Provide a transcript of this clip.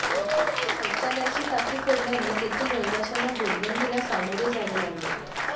शौचालयाची टाकी फोडल्याने तेथील रहिवाशांना दुर्गंधीला सामोरे जावे लागले